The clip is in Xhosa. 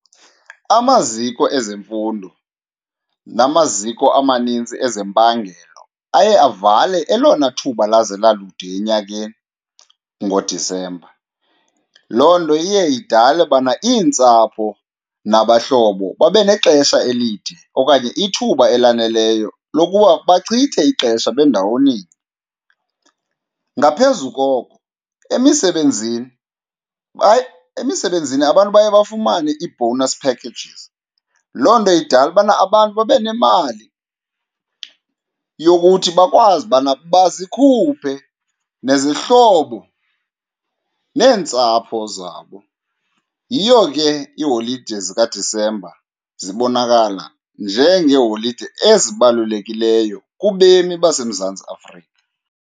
Amaziko ezemfundo namaziko amanintsi ezempangelo aye avale elona thuba laze lalude enyakeni ngoDisemba. Loo nto iye idale ubana iintsapho nabahlobo babe nexesha elide okanye ithuba elaneleyo lokuba bachithe ixesha bendawoninye. Ngaphezu koko, emisebenzini , emisebenzini abantu baye bafumane ii-bonus packages, loo nto idale ubana abantu babe nemali yokuthi bakwazi ubana bazikhuphe nezihlobo neentsapho zabo. Yiyo ke iiholide zikaDisemba zibonakala njengeeholide ezibalulekileyo kubemi baseMzantsi Afrika.